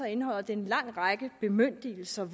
indeholder det en lang række bemyndigelser og